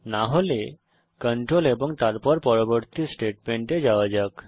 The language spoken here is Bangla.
না হলে কন্ট্রোল এবং তারপর পরবর্তী স্টেটমেন্টে যাওয়া যাক